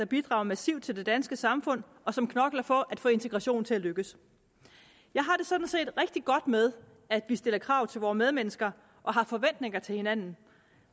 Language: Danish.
bidrager massivt til det danske samfund og som knokler for at få integrationen til at lykkes jeg har det sådan set rigtig godt med at vi stiller krav til vore medmennesker og har forventninger til hinanden